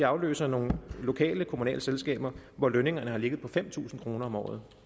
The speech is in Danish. afløser nogle lokale kommunale selskaber hvor lønningerne har ligget på fem tusind kroner om året